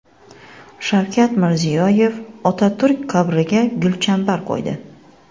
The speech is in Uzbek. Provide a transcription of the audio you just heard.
Shavkat Mirziyoyev Otaturk qabriga gulchambar qo‘ydi.